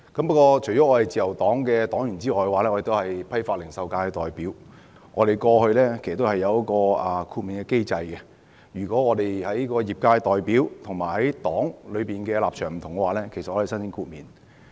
不過，我除了是自由黨的黨員外，亦是批發、零售界的代表，自由黨過去有一個豁免的機制，如果我作為業界代表與黨的立場不同，其實可以申請豁免。